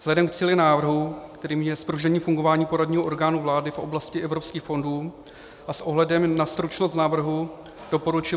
Vzhledem k cíli návrhu, kterým je zpružnění fungování poradního orgánu vlády v oblasti evropských fondů, a s ohledem na stručnost návrhu doporučuje